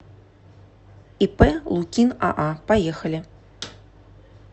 ип лукин аа поехали